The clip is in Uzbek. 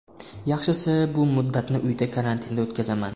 Yaxshisi bu muddatni uydagi karantinda o‘tkazaman.